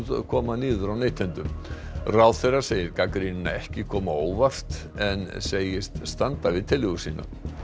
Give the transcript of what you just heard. koma niður á neytendum ráðherra segir gagnrýnina ekki koma á óvart en segist standa við tillögur sínar